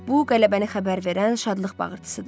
Bu qələbəni xəbər verən şadlıq bağırtısıdır.